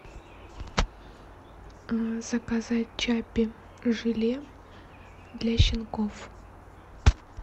заказать чаппи желе для щенков